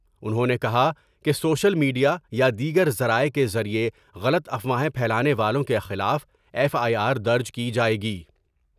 انہوں نے کہا کہ سوشل میڈ یا یا دیگر ذرائع کے ذریعہ غلط افواہیں پھیلانے والوں کے خلاف ایف آئی آر درج کی جائے گی ۔